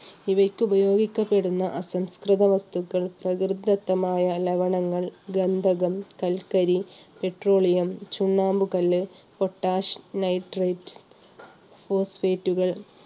ഇവയ്ക്കുപയോഗിക്കപ്പെടുന്ന അസംസ്കൃത വസ്തുക്കൾ, പ്രകൃതിദത്തമായ ലവണങ്ങൾ, ഗന്ധകം, കൽക്കരി, പെട്രോളിയം, ചുണ്ണാമ്പ് കല്ല്, പൊട്ടാഷ്, നൈട്രേറ്റ്, ഫോസ്ഫേറ്റുകൾ